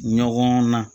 Ɲɔgɔn na